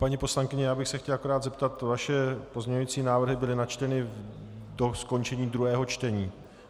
Paní poslankyně, já bych se chtěl akorát zeptat - vaše pozměňující návrhy byly načteny do skončení druhého čtení?